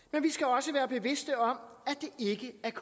jeg venstre